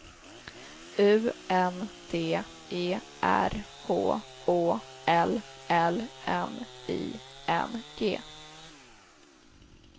U N D E R H Å L L N I N G